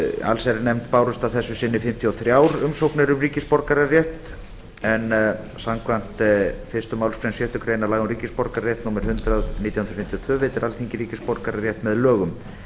allsherjarnefnd bárust að þessu sinni fimmtíu og þrjár umsóknir um ríkisborgararétt en samkvæmt fyrstu málsgrein sjöttu grein laga um ríkisborgararétt númer hundrað hundrað níutíu og fimm veitir alþingi ríkisborgararétt með lögum